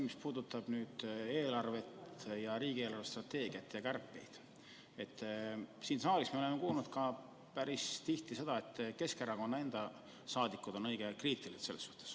Mis puudutab eelarvet, riigi eelarvestrateegiat ja kärpeid, siis oleme siin saalis päris tihti kuulnud, et Keskerakonna liikmed on sel teemal õige kriitilised.